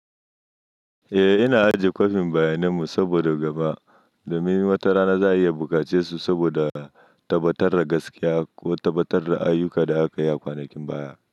Eh, ina ajiye kwafin bayaninmu saboda gaba domin wata rana za a iya buƙace su saboda tabbatar da gaskiya ko tabbatar da ayyukan da aka yi a kwanakin baya.